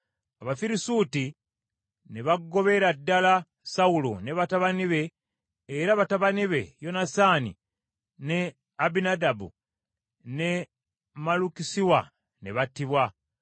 Abafirisuuti ne bagobera ddala Sawulo ne batabani be, era batabani be Yonasaani, ne Abinadaabu ne Malukisiwa ne battibwa.